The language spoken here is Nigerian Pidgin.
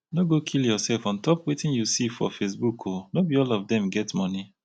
no go kill yoursef on top wetin you see for facebook o no be all of dem get moni.